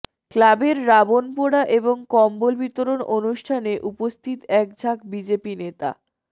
ক্লাবের রাবণ পোড়া এবং কম্বল বিতরণ অনুষ্ঠানে উপস্থিত একঝাঁক বিজেপি নেতা